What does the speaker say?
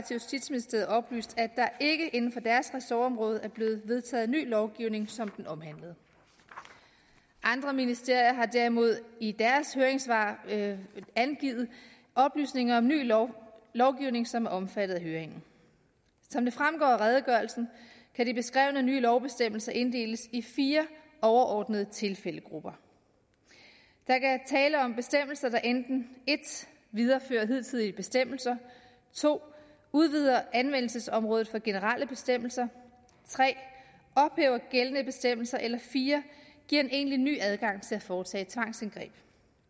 justitsministeriet oplyst at der ikke inden for deres ressortområde er blevet vedtaget en ny lovgivning som den omhandlede andre ministerier har derimod i deres høringssvar angivet oplysninger om ny lovgivning lovgivning som er omfattet af høringen som det fremgår af redegørelsen kan de beskrevne nye lovbestemmelser inddeles i fire overordnede tilfældegrupper der er tale om bestemmelser der enten 1 viderefører hidtidige bestemmelser 2 udvider anvendelsesområdet for generelle bestemmelser 3 ophæver gældende bestemmelser eller 4 giver en egentlig ny adgang til at foretage tvangsindgreb